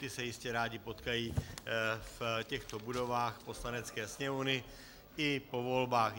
Ti se jistě rádi potkají v těchto budovách Poslanecké sněmovny i po volbách.